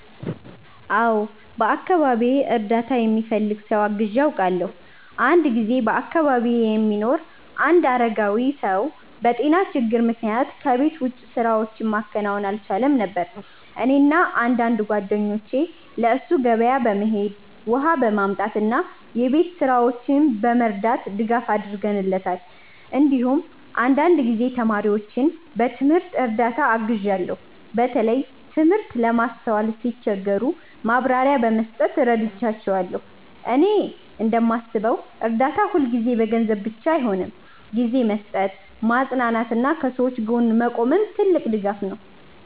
አዎ፣ በአካባቢዬ እርዳታ የሚፈልግ ሰው አግዤ አውቃለሁ። አንድ ጊዜ በአካባቢዬ የሚኖር አንድ አረጋዊ ሰው በጤና ችግር ምክንያት ከቤት ውጭ ስራዎችን ማከናወን አልቻለም ነበር። እኔና አንዳንድ ጓደኞቼ ለእሱ ገበያ በመሄድ፣ ውሃ በማምጣት እና የቤት ስራዎችን በመርዳት ድጋፍ አድርገንለታል። እንዲሁም አንዳንድ ጊዜ ተማሪዎችን በትምህርት እርዳታ አግዣለሁ፣ በተለይ ትምህርት ለማስተዋል ሲቸገሩ ማብራሪያ በመስጠት እረዳቸዋለሁ። እኔ እንደማስበው እርዳታ ሁልጊዜ በገንዘብ ብቻ አይሆንም፤ ጊዜ መስጠት፣ ማጽናናት እና ከሰዎች ጎን መቆምም ትልቅ ድጋፍ ነው።